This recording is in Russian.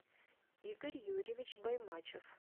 игорь юрьевич баймачев